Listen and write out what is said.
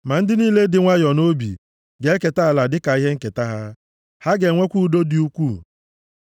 Ma ndị niile dị nwayọọ nʼobi ga-eketa ala a dịka ihe nketa ha, ha ga-enwekwa udo dị ukwuu.